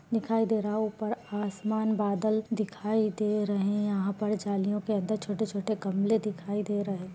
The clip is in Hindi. दिखाई दे रहा ऊपर आसमान बादल दिखाई दे रहे। यहाँ पर जालियो के अंदर छोटे-छोटे गमले दिखाई दे रहे।